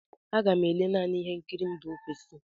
Aga m ele naanị ihe nkiri mba ofesi.